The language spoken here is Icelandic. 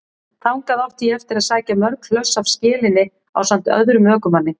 Þangað átti ég eftir að sækja mörg hlöss af skelinni ásamt öðrum ökumanni.